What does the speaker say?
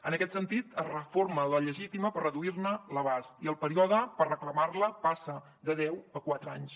en aquest sentit es reforma la llegítima per reduir ne l’abast i el període per reclamar la passa de deu a quatre anys